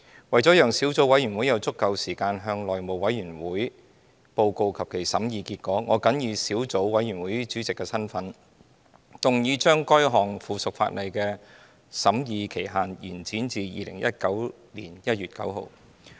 為了讓小組委員會有足夠時間向內務委員會報告其審議結果，我謹以小組委員會主席的身份，動議將該項附屬法例的審議期限延展至2019年1月9日。